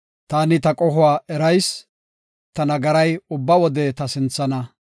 Taani ta qohuwa erayis; ta nagaray ubba wode ta sinthana.